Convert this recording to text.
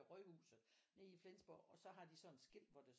Rådhuset nede i Flensborg og så har de sådan et skilt hvor der